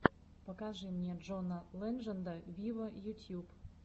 покажи мне джона ледженда виво ютьюб